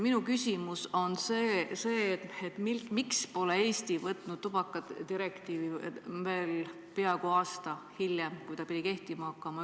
Minu küsimus on see, et miks pole Eesti võtnud tubakadirektiivi üle ka peaaegu aasta hiljem, kui ta pidi kehtima hakkama.